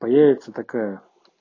появится такая